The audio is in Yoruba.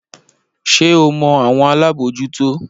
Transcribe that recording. Ṣé o mọ àwọn alábòójútó?